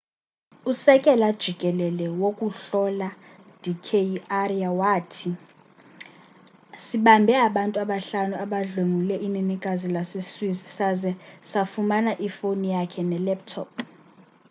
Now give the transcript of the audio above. usekela jikelele wokuhlola d k arya wathi sibambe abantu abahlanu abadlwengule inenekazi lase swiss saze sayifumana ifone yakhe nelaptop